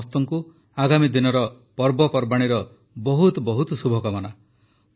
ଆପଣ ସଭିଙ୍କୁ ଆଗାମୀ ଦିନର ପର୍ବପର୍ବାଣୀର ବହୁତ ବହୁତ ଶୁଭକାମନା